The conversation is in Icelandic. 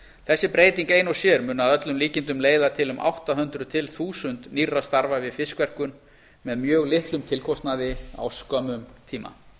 þessi breyting ein sér mun að öllum líkindum leiða til um átta hundruð til þúsund nýrra starfa við fiskverkun með mjög litlum tilkostnaði á skömmum tíma